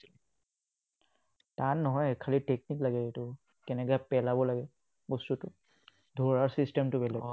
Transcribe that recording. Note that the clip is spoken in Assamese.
টান নহয়, খালি technique লাগে এইটো, কেনেকে পেলাব লাগে বস্তুটো। ধৰাৰ system টো বেলেগ।